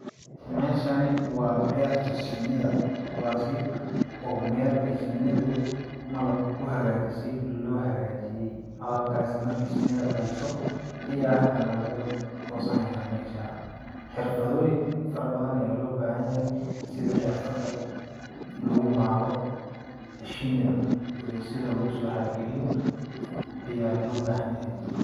Meshani waa berta shinida kuwaasi oo mel ay shinidu malab ku hagajise loo hagaajiyey, malabkaasi markay shinida dhaliso ayaa hada nah laga gosanayaa meshaas, xirfadooyin fara badan ayaa loo bahan yahay sidi xirfada lagu maalo shinida sida lagusoo xara geliyo ayaa loo bahan yahay.